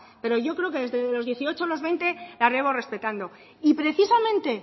pero yo creo que desde los dieciocho o los veinte la llevo respetando y precisamente